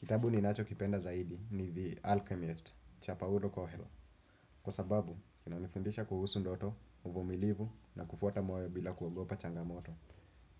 Kitabu ninachokipenda zaidi ni The Alchemist, Cha paulo coelho. Kwa sababu, kinanifundisha kuhusu ndoto, uvumilivu na kufuata moyo bila kuogopa changamoto.